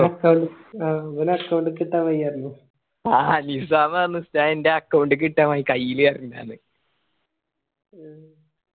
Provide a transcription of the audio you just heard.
ആ നിസ്സാം പറഞ് ഉസ്താദ് എന്റെ account ക്ക് ഇട്ടാ മതി കയ്യില് തേരേണ്ടാന്ന്‌